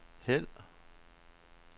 hæld